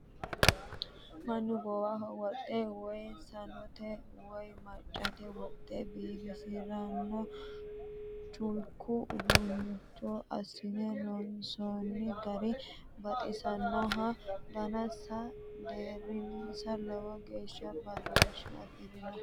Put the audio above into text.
Mannu gowaho wodhe woyi sanote woyi maccate wodhe biifisirano culku uduuncho assine loonsonni gari baxisanoho, daninsa deerinsa lowo geeshsha badooshe afirinoho.